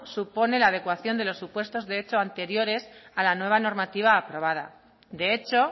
supone la adecuación de los supuestos de hechos anteriores a la nueva normativa aprobada de hecho